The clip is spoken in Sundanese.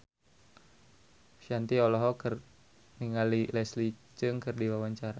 Shanti olohok ningali Leslie Cheung keur diwawancara